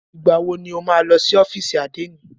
Ìgbà wọ ni o lọ sí ọ́fìsì àdénì?